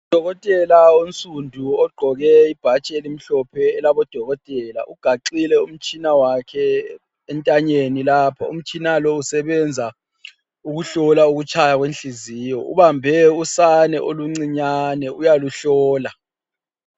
Udokotela onsundu ogqoke ibhatshi elimhlophe elabodokotela ugaxile umtshina wakhe entanyeni lapho. Umtshina lo usebenza ukuhlola ukutshaya kwenhliziyo. Ubambe usane oluncinyane uyaluhlola.